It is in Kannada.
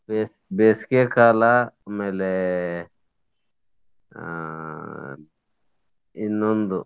ಬೇಸಿಗೆಕಾಲ ಆಮೇಲೆ ಆ ಇನ್ನೊಂದು.